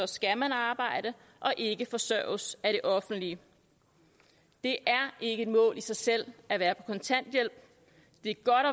skal man arbejde og ikke forsørges af det offentlige det er ikke et mål i sig selv at være på kontanthjælp det er godt at